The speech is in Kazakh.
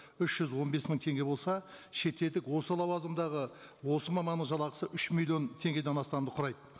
үш жүз он бес мың теңге болса шетелдік осы лауазымдағы осы маманның жалақысы үш миллион теңгеден астамды құрайды